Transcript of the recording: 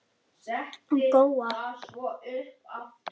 Góa